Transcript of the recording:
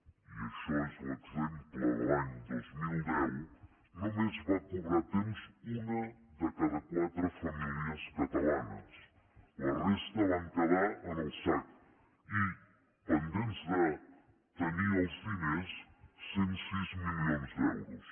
i això és l’exemple de l’any dos mil deu només va cobrar a temps una de cada quatre famílies catalanes la resta van quedar en el sac i pendents de tenir els diners cent i sis milions d’euros